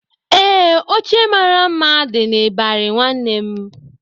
Ee, oche mara mma dị n'ịbarị nwanne m